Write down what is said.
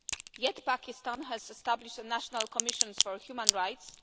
Yet Pakistan has established a national commission for human rights.